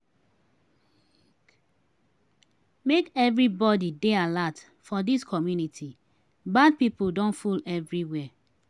make everybody dey alert for dis community bad pipo don full everywhere.